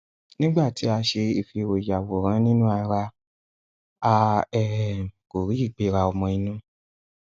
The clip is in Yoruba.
nígbà tí a ṣe ìfìróyàwòrá ninú ara a um kò rí ìgbéra ọmọ inú